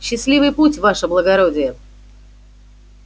счастливый путь ваше благородие